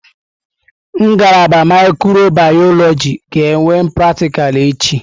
Ngalaba mikrobiyọlojị ga-enwe pratịkal echi.